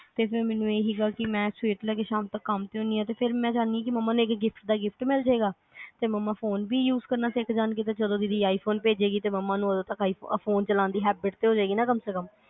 ਤੇ ਹੁਣ ਮੈਨੂੰ ਇਹ ਸੀ ਕੇ ਮੈਂ ਸਵੇਰ ਤੋਂ ਲੈ ਕੇ ਸ਼ਾਮ ਤੱਕ ਕੰਮ ਤੇ ਹੁਨੀ ਆ ਫਿਰ ਮੈਂ ਚਾਹਨੀ ਆ ਕੇ ਮੰਮਾ ਨੂੰ ਇਕ ਗਿਫ਼੍ਟ ਦਾ ਗਿਫਟ ਮਿਲਜੇ ਤੇ ਮੰਮਾ ਫੋਨ ਵੀ use ਕਰਨਾ ਸਿੱਖ ਜਾਣ ਗੇ ਤੇ ਜਦੋ ਦੀਦੀ i phone ਭੇਜਣ ਗੇ ਤੇ ਮੰਮਾ ਨੂੰ ਉਦੋਂ ਤੱਕ ਫੋਨ ਚਲਾਉਣ ਦੀ habit ਵੀ ਹੋਜੇਗੀ ਨਾ ਕਮ ਸੇ ਕਮ